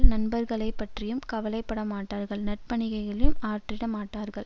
நண்பர்களைப்பற்றியும் கவலைப்படமாட்டார்கள் நற்பணிகளையும் ஆற்றிட மாட்டார்கள்